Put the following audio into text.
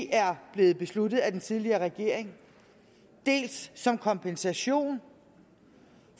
er blevet besluttet af den tidligere regering dels som kompensation